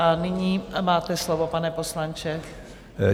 A nyní máte slovo, pane poslanče.